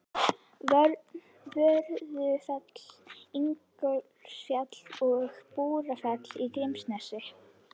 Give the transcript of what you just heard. Vörðufell, Ingólfsfjall og Búrfell í Grímsnesi.